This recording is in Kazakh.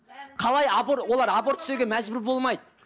қалай олар аборт істеуге мәжбүр болмайды